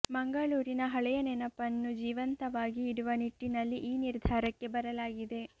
ಮಂಗಳೂರಿನ ಹಳೆಯ ನೆನಪನ್ನು ಜೀವಂತವಾಗಿ ಇಡುವ ನಿಟ್ಟಿನಲ್ಲಿ ಈ ನಿರ್ಧಾರಕ್ಕೆ ಬರಲಾಗಿದೆ